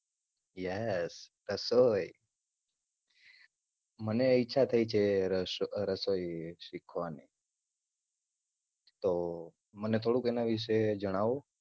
Yes રસોઈ. મને ઈચ્છા થઇ છે રસોઈ સિખવાની. તો મને થોડુક એના વિષે જણાવો.